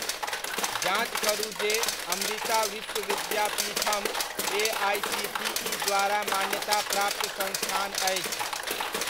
जाँच करू जे अमृता विश्व विद्यापीठम एआइसीटीइ द्वारा मान्यताप्राप्त संस्थान अछि ?